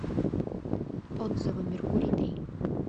отзывы меркурий три